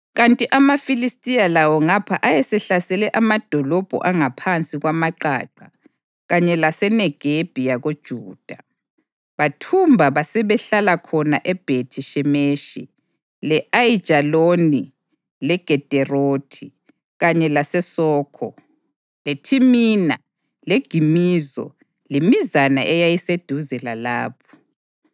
kanti amaFilistiya lawo ngapha ayesehlasele amadolobho angaphansi kwamaqaqa kanye laseNegebi yakoJuda. Bathumba basebehlala khona eBhethi-Shemeshi, le-Ayijaloni leGederothi, kanye laseSokho, leThimina leGimizo lemizana eyayiseduze lalapho.